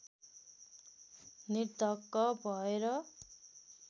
निर्धक्क भएर